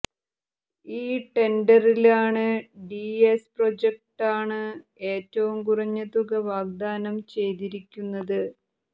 ഈ ടെന്ഡറില് R DS പ്രോജക്ടാണ് ഏറ്റവും കുറഞ്ഞ തുക വാഗ്ദാനം ചെയ്തിരിക്കുന്നത്